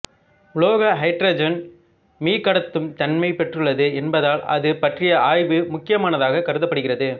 உலோக ஹைட்ரஜன் மீக்கடத்தும் தன்மைப் பெற்றுள்ளது என்பதால் அது பற்றிய ஆய்வு முக்கியமானதாகக் கருதப்படுகிறது